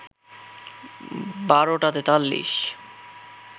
১২টা ৪৩